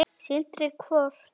Sindri: Hvort?